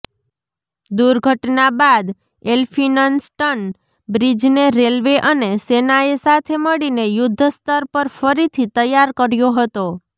દુર્ઘટના બાદ એલફિન્સ્ટન બ્રિજને રેલવે અને સેનાએ સાથે મળીને યુદ્ધસ્તર પર ફરીથી તૈયાર કર્યો હતો